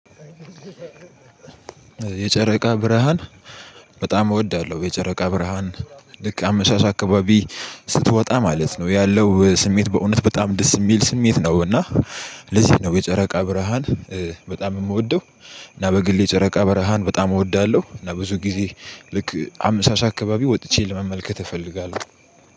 የጨረቃ ብርሃን በጣም እወዳለሁ። የጨረቃ ብርሃን ልክ አመሻሽ አካባቢ ስትወጣ ማለት ነው ያለው ስሜት በእውነት በጣም ደስ የሚል ስሜት ነው። እና ለዚህ ነው የጨረቃ ብርሃን በጣም የምወደው። እና በግል የጨረቃ ብርሃን በጣም እወዳለሁ እና ብዙ ጊዜ ልክ አመሻሽ አካባቢ ወጥቼ ለመመልከት እፈልጋለሁ